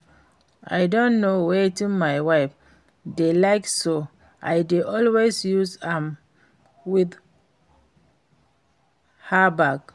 I don know wetin my wife dey like so I dey always use am win her back